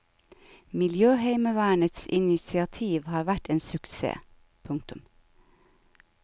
Miljøheimevernets initiativ har vært en suksess. punktum